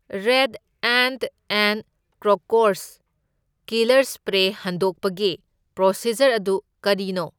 Red ant and cockroach killer spray ꯍꯟꯗꯣꯛꯄꯒꯤ procedure ꯑꯗꯨ ꯀꯔꯤꯅꯣ?